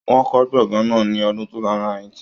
Wọ́n kọ́ gbọ̀ngán náà ní ọdún 2008.